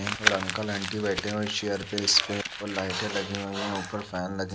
और uncle aunty बैठे हैं चेयर पे इसपे और लाइटें लगी हुई है ऊपर से लगा हुआ है ऊपर फैन लगे --